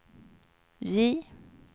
J